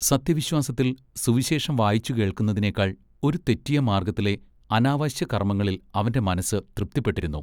സത്യവിശ്വാസത്തിൽ സുവിശേഷം വായിച്ചു കേൾക്കുന്നതിനെക്കാൾ ഒരു തെറ്റിയ മാർഗ്ഗത്തിലെ അനാവശ്യ കർമ്മങ്ങളിൽ അവന്റെ മനസ്സ് തൃപ്തിപ്പെട്ടിരുന്നു.